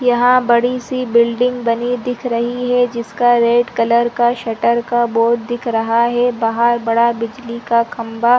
यहाँ बड़ी-सी बिल्डिंग बनी दिख रही है जिसका रेड कलर का शटर का बोर्ड दिख रहा है बाहर बड़ा बिजली का खंभा --